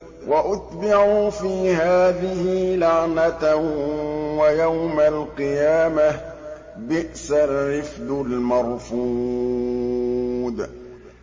وَأُتْبِعُوا فِي هَٰذِهِ لَعْنَةً وَيَوْمَ الْقِيَامَةِ ۚ بِئْسَ الرِّفْدُ الْمَرْفُودُ